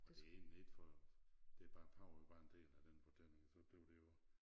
Og det egentlig ikke for det bare æ pave var en del af den fortælling så blev det jo